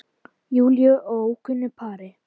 Júlíu og ókunnu pari.